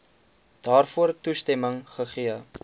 daarvoor toestemming gegee